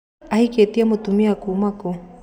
Ahĩkĩtie mũirĩtu kuma kũ?